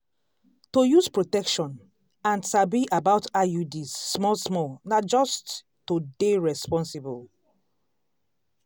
to use protection and sabi about iuds small small na just to dey responsible.